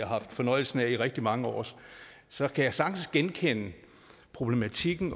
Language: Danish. haft fornøjelsen af i rigtig mange år så kan man sagtens genkende den problematik at